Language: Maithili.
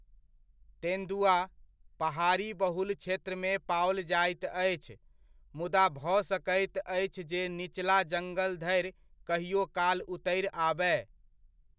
तेन्दुआ, पहाड़ी बहुल क्षेत्रमे पाओल जाइत अछि, मुदा भऽ सकैत अछि जे निचला जङ्गल धरि कहिओ काल उतरि आबय।